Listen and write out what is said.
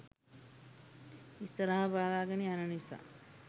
ඉස්සරහ බලාගෙන යන නිසා